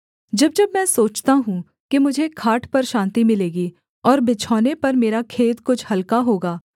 जब जब मैं सोचता हूँ कि मुझे खाट पर शान्ति मिलेगी और बिछौने पर मेरा खेद कुछ हलका होगा